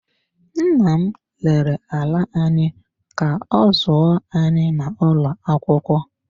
Nna m rere ala anyị ka ọ zụọ anyị n’ụlọ akwụkwọ.